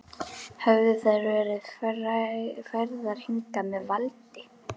Höfðu þær verið færðar hingað með valdi?